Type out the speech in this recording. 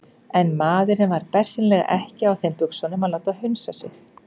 En maðurinn var bersýnilega ekki á þeim buxunum að láta hunsa sig.